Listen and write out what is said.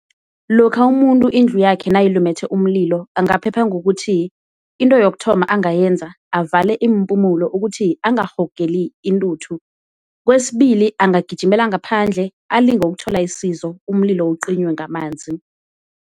Lokha umuntu indlu yakhe nayilumethe umlilo angaphepha ngokuthi, into yokuthoma angayenza avale iimpumulo ukuthi angarhogeli intuthu, kwesibili angagijimela ngaphandle alinge ukuthola isizo umlilo uqinywe ngamanzi.